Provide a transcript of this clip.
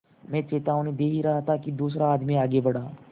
मैं चेतावनी दे ही रहा था कि दूसरा आदमी आगे बढ़ा